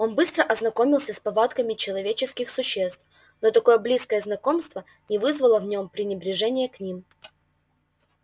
он быстро ознакомился с повадками человеческих существ но такое близкое знакомство не вызвало в нём пренебрежения к ним